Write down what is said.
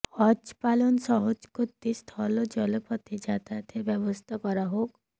হজ পালন সহজ করতে স্থল ও জলপথে যাতায়াতের ব্যবস্থা করা হোক